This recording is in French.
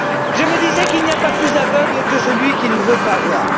je me disais qu'il n'y a pas plus aveugle que celui qui ne veut pas voir.